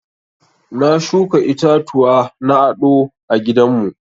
Na shuka itatuwa na aɗo a gidan mu.